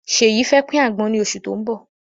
Ṣeyi fẹ́ pin àgbọn ni oṣù tó ń bọ̀.